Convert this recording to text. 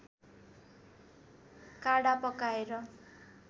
काढा पकाएर